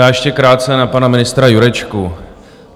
Já ještě krátce na pana ministra Jurečku.